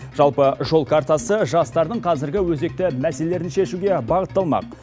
жалпы жол картасы жастардың қазіргі өзекті мәселелерін шешуге бағытталмақ